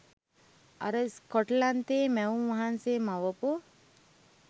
අර ස්කොට්ලන්තේ මැවුම් වහන්සේ මවපු